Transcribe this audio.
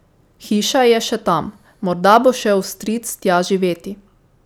Hiša je še tam, morda bo šel stric tja živeti.